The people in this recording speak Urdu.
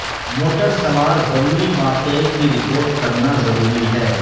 موٹر سوار ضروری واقعے کی رپورٹ کرنا ضروری ہے